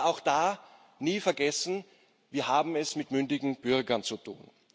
Man darf aber auch da nie vergessen Wir haben es mit mündigen Bürgern zu tun.